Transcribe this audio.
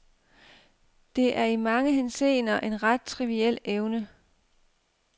Det er i mange henseender en ret triviel evne.